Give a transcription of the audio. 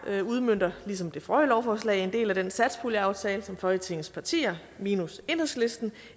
udmønter ligesom det forrige lovforslag en del af den satspuljeaftale som folketingets partier minus enhedslisten